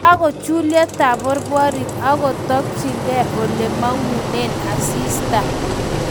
Kakochulyo taborborik agotokchige olemangunen asista